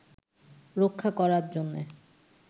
রক্ষা করার জন্যে